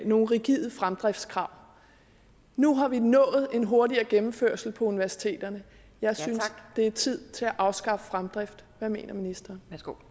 nogle rigide fremdriftskrav nu har vi nået en hurtigere gennemførelse på universiteterne og jeg synes det er tid til at afskaffe fremdrift hvad mener ministeren